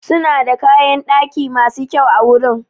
Suna da kayan daki masu kyau awurin.